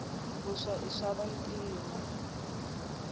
vuswa i swava ntima